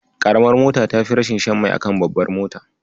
Ƙaramar mota tafi rashin shan mai a kan babbar mota.